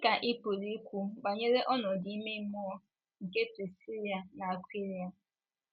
Gịnị ka ị pụrụ ikwu banyere ọnọdụ ime mmụọ nke Prisila na Akwịla?